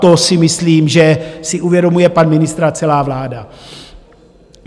To si myslím, že si uvědomuje pan ministr a celá vláda.